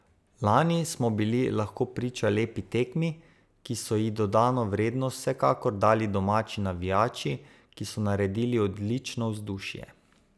Lani smo bili lahko priča lepi tekmi, ki so ji dodano vrednost vsekakor dali domači navijači, ki so naredili odlično vzdušje.